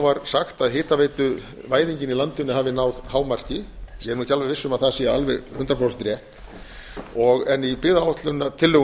var sagt að hitaveituvæðingin í landinu hefði náð hámarki ég er ekki alveg viss um að það sé alveg hundrað prósent rétt en í